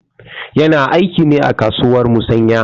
Yana aiki ne a kasuwar musanƴa.